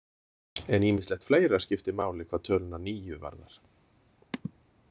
En ýmislegt fleira skiptir máli hvað töluna níu varðar.